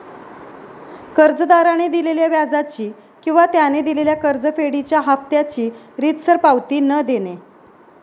कर्जदाराने दिलेल्या व्याजाची किंवा त्याने दिलेल्या कर्जफेडीच्या हाफत्याची रीतसर पावती न देणे